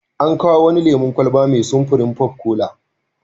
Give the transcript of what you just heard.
An kawo wani lemon kwalaba mai sun popcola.